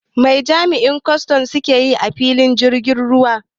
Wai me jami'an kwaston suke yi a filin jirgin ruwa?